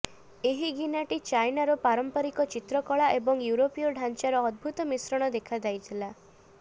ଏହି ଗିନାଟି ଚାଇନାର ପାରମ୍ପରିକ ଚିତ୍ରକଳା ଏବଂ ୟୁରୋପୀୟ ଢ଼ାଞ୍ଚାର ଅଦ୍ଭୁତ ମିଶ୍ରଣ ଦେଖାଯାଇଥିଲା